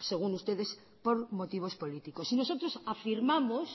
según ustedes por motivos políticos y nosotros afirmamos